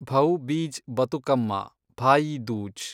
Bhaubeej Bathukamma, Bhai Dooj